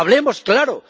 Hablemos claro.